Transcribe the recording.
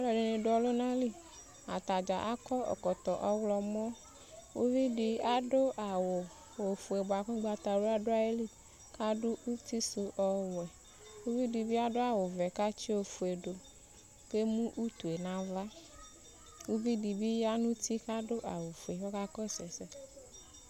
Alʋɛdɩnɩ dʋ ɔlʋna li Ata dza akɔ ɛkɔtɔ ɔɣlɔmɔ Uvi dɩ adʋ awʋ ofue bʋa kʋ ʋgbatawla dʋ ayili kʋ adʋ uti sʋ ɔwɛ Uvi dɩ bɩ adʋ awʋvɛ kʋ atsɩ ofue dʋ kʋ utu yɛ nʋ aɣla Uvi dɩ bɩ ya nʋ uti kʋ adʋ awʋfue kʋ ɔkakɔsʋ ɛsɛ